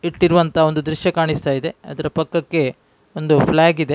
ಇಟ್ಟಿರುವಂಥ ಒಂದು ದ್ರಶ್ಯ ಕಾಣಿಸ್ತಾ ಇದೆ ಅದರ ಪಕ್ಕಕ್ಕೆ ಒಂದು ಫ್ಲಾಗ್ ಇದೆ .